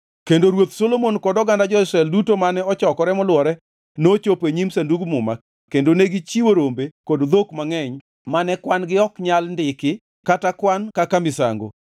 kendo Ruoth Solomon kod oganda jo-Israel duto mane ochokore molwore nochopo e nyim Sandug Muma; kendo negichiwo rombe kod dhok mangʼeny mane kwan-gi ok nyal ndiki kata kwan kaka misango.